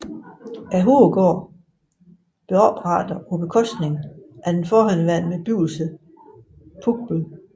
Hovedgården blev oprettet på bekostning af den forhenværende bebyggelse Pugbøl